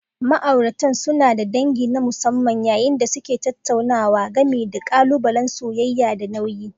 Ma'auratan suna da dangi na musamman yayin da suke tattaunawa game da ƙalubalen soyayya da nauyi.